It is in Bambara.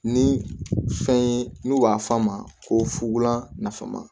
Ni fɛn ye n'u b'a f'a ma ko fula nafama